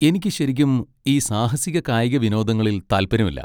എനിക്ക് ശരിക്കും ഈ സാഹസിക കായിക വിനോദങ്ങളിൽ താല്പര്യമില്ല.